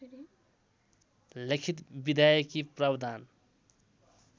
लिखित विधायकी प्रावधान